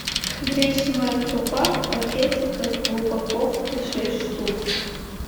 гречневая крупа в пакетиках в упаковке шесть штук